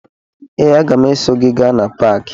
Ee, aga m eso gị gaa na paakị